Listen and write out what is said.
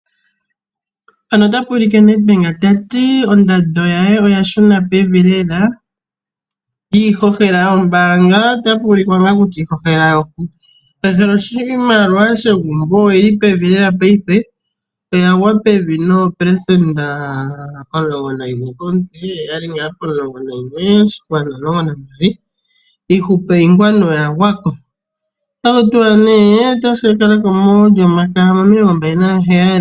Nedbank otayi ondando ye oya shuna pevi lela. Iihohela yombaanga oya shuna pevi oshimaliwa shegumbo osha shuna pevi noopelesenda 11 komutse yo oyali 11,2 otaku tiwa otayi ka kalako mo27.